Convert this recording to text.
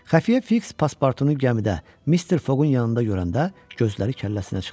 Xəfiyyə Fiks paspartunu gəmidə Mister Foqun yanında görəndə gözləri kəlləsinə çıxdı.